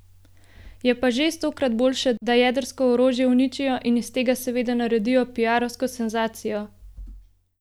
Je pa že stokrat bolje, da jedrsko orožje uničijo in iz tega seveda naredijo piarovsko senzacijo!